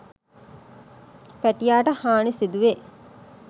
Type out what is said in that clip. පැටියාට හානි සිදුවේ.